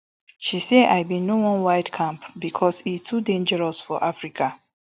she say i bin no wildcamp becos e dey too dangerous for africa